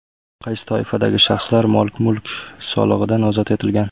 Qaysi toifadagi shaxslar mol-mulk solig‘idan ozod etilgan?.